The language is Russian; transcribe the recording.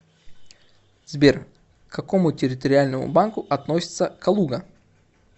сбер к какому территориальному банку относится калуга